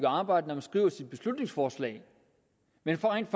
arbejde når man skriver sit beslutningsforslag men får rent